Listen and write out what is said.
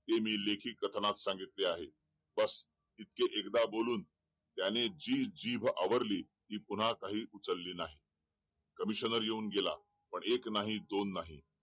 ते मी लेखी कथनात सांगितले आहे इतके एकदा बोलून त्याने जी जीभ आवरली ती पुन्हा काही उचली नाही कमिशनर येऊन गेला पण एक नाही दोन नाही